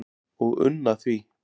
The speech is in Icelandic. og unna því